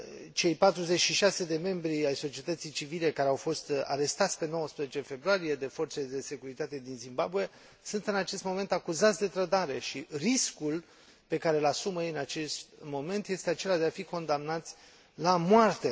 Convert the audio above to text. Cei 46 de membri ai societății civile care au fost arestați pe 19 februarie de forțele de securitate din Zimbabwe sunt în acest moment acuzați de trădare și riscul pe care și l asumă ei în acest moment este acela de a fi condamnați la moarte.